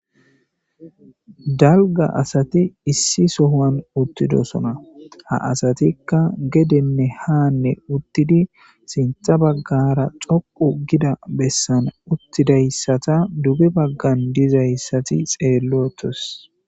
Dalga asati issi sohuwani utidosona, ha asatika gedene haane utidi sintha bagara xoqu gida besan utidaysata duge bagan dizaysati xeelotesi